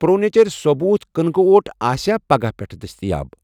Pro نیچر ثوبوٗت کٕنکہٕ اوٹ آسیٚا پگاہہٕ پٮ۪ٹھ دٔستِیاب؟